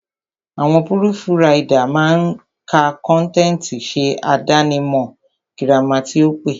Àwọn púrùfù ridà máa ka kọ́ntẹ̀tì, ṣe àdáni mọ̀ gírámà tí ó pé.